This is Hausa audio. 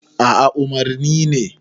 a a umarni ne